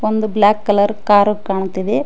ಒಂದು black colour car ಕಾಣುತ್ತಿದೆ.